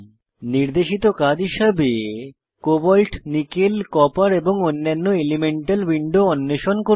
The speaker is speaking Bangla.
নির্দেশিত কাজ হিসাবে কোবল্ট নিকেল কপার এবং অন্যান্য এলিমেন্টাল উইন্ডো অন্বেষণ করুন